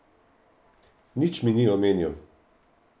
Nič mi ni omenil.